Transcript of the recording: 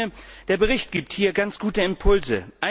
Ich meine, der Bericht gibt hier ganz gute Impulse.